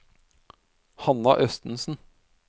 Hanna Østensen